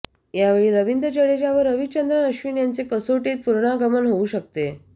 यावेळी रवींद्र जाडेजा व रवीचंद्रन अश्विन यांचे कसोटीत पुनरागमन होऊ शकते